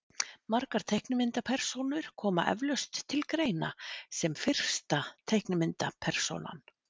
Margar teiknimyndapersónur koma eflaust til greina sem fyrsta teiknimyndapersónan.